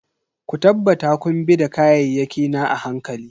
Ku tabbata kun bi da kayayyaki na a hankali.